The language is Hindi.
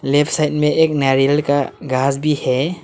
लेफ्ट साइड में एक नारियल का घास भी है।